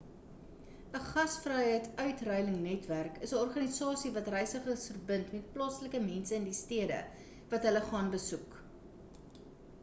'n gasvryheidsuitruilnetwerk is 'n organisasie wat reisigers verbind met plaaslike mense in die stede wat hulle gaan besoek